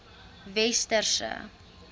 westerse